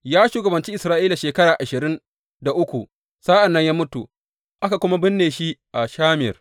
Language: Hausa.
Ya shugabanci Isra’ila shekara ashirin da uku sa’an nan ya mutu, aka kuma binne shi a Shamir.